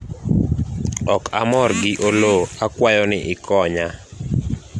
ok amor gi Oloo akwayo ni ikonya